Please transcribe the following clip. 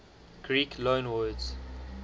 greek loanwords